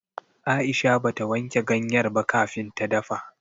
Aisha bata wanke ganyar ba kafin ta dafa.